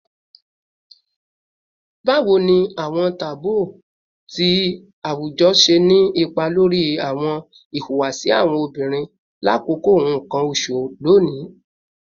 Bawo ni awọn taboo ti awujọ ṣe ni ipa lori awọn ihuwasi awọn obinrin lakoko nkan oṣu loni?